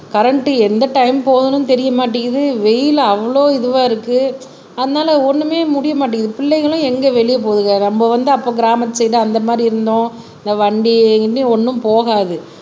current எந்த time போகுதுன்னும் தெரிய மாட்டேங்குது வெயில் அவ்வளவு இதுவா இருக்கு அதனால ஒண்ணுமே முடிய மாட்டேங்குது பிள்ளைகளும் எங்க வெளிய போகுதுங்க நம்ம வந்து அப்ப கிராமத்து சைடு அந்த மாதிரி இருந்தோம் வண்டி கிண்டி ஒண்ணும் போகாது